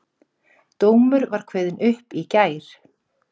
Dómur var kveðinn upp í gær